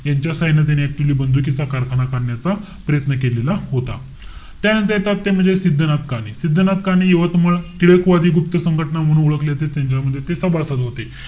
यांच्या साहाय्याने त्यांनी actually बंदुकीचा कारखाना काढण्याचा प्रयत्न केलेला होता. त्यानंतर येतात ते म्हणजे सिध्दनाथ काणे. सिध्दनाथ काणे, यवतमाळ. टिळकवादी गुप्त संघटना म्हणून ओळखले जाते. त्यांच्यामध्ये ते सभासद होते.